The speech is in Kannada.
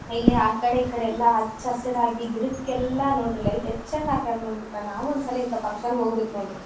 ಇಲ್ಲಿ ಆ ಕಡೆ ಈ ಕಡೆ ಎಲ್ಲಾ ಹಚ್ಚ ಹಸಿರಾಗಿ ಗಿಡಕ್ಕೆಲ್ಲ ನೋಡ್ರಿ ಲೈಟ್ ಎಷ್ಟು ಚೆಂದ ಆಕಾರ ನೋಡ್ರಿ ನಾವು ಒಂದ್ಸಲಿ ಇಂಥ ಫಂಕ್ಷನ್ ಹೋಗಬೇಕು ನೋಡ್ರಿ.